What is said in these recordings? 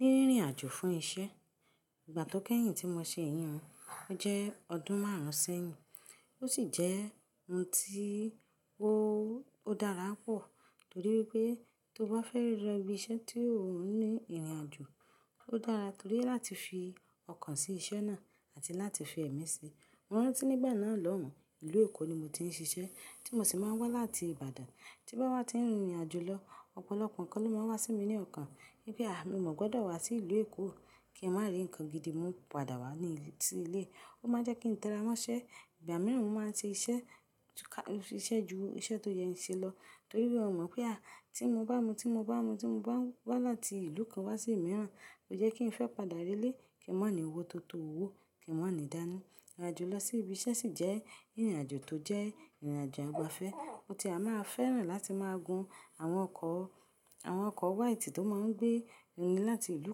Ní rírin àjò fún isẹ́, ìgbà tó kẹ́yìn tí mo ṣe èyí, ó jẹ́ ọdún márùn-ún sẹ́yìn. Ó sì jẹ́ ohun tí ó dára pọ̀ torí wípé tó bá fẹ́ rí ibi isẹ́ tí òhun ní ìrìn àjò, ó dára torí láti fi ọkàn sí isẹ́ náà àti láti fi ẹ̀mí sí i. Mo rántí nígbà náà lọ́hùn, ìlú Èkó ni mo ti ń ṣiṣẹ́ tí mo sì máa ń wá láti Ìbàdàn. Tí mo bá wá ti ń rin ìrìn àjò lọ, ọ̀pọ̀lọpọ̀ ǹkan ló máa wá sí mi ní ọkàn pé à, mo ò gbọ́dọ̀ wá sí ìlú Èkó kí n má rí ǹkan gidi, mo ń padà wá sí ilé. Ó máa jẹ́ kí n tẹra mọ́ṣẹ́. Ìgbà mìíràn mo máa ń ṣe iṣẹ́ ju iṣẹ́ tó yẹ ní ṣe lọ torí pé mo mọ̀ pé à, tí mo bá mu, tí mo bá wá láti ìlú kan wá sí mìíràn, ó jẹ́ kí n fẹ́ padà rí ilé kí n má ní owó tó tó owó, kí n má ní ìdáná. Ìrìn àjò lọ sí ibi iṣẹ́ sì jẹ́ ìrìn àjò tó jẹ́ ìrìn àjò àgbafẹ́. Ó ti a máa fẹ́ràn láti máa gun àwọn ọkọ̀ white tó máa ń gbé ni láti ìlú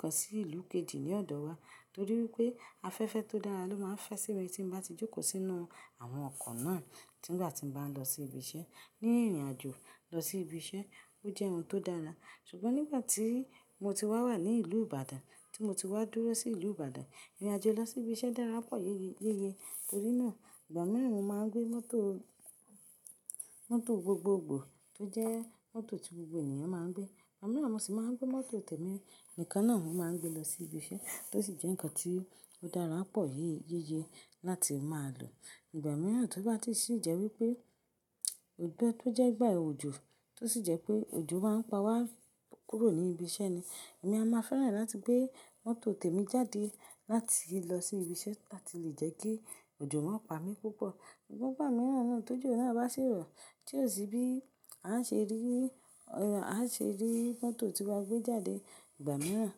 kan sí ìlú kejì ní ọ̀dọ̀ wa torí wípé afẹ́fẹ́ tó dára ló máa ń fẹ́ sí mi tí mo bá ti jókòó sínú àwọn ọkọ̀ náà nígbà tí mo bá ń lọ sí ibi iṣẹ́. Ní ìrìn àjò lọ sí ibi iṣẹ́, ó jẹ́ ohun tó dára. Ṣùgbọ́n nígbà tí mo ti wá wà ní ìlú Ìbàdàn, tí mo ti wá dúró sí ìlú Ìbàdàn, ìrìn àjò lọ sí ibi iṣẹ́ dára pọ̀ yéeyeye torí náà ìgbà mìíràn mo máa ń gbé mọ́tò gbogbogbò tó jẹ́ mọ́tò tí gbogbo ènìyàn máa ń gbé. Ìgbà mìíràn mo sì máa ń gbé mọ́tò tèmi nìkan náà mo máa ń gbé lọ sí ibi iṣẹ́ tó sì jẹ́ ǹkan tí ó dára pọ̀ yéeyeye láti máa lò. Ìgbà mìíràn tó bá ti ṣì jẹ́ wípé òdò tó jẹ́ ìgbà òjò tó sì jẹ́ pé òjò máa ń pa wá kúrò ní ibi iṣẹ́ ni, èmi a máa fẹ́ràn láti gbé mọ́tò tèmi jáde láti lọ sí ibi iṣẹ́ láti lè jẹ́ kí òjò má pa mí púpọ̀. Ṣùgbọ́n ìgbà mìíràn náà tójú òní a bá ṣèrò tí ò sí bí a ṣe rí mọ́tò tí wọ́n gbé jáde, ìgbà mìíràn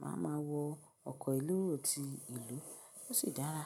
màá ma wọ ọkọ̀ ìlú òòtù ìlú, ó sì dára.